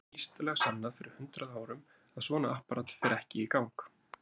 Það var vísindalega sannað fyrir hundrað árum að svona apparat fer ekki í gang.